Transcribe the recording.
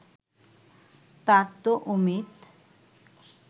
তার তো অমিত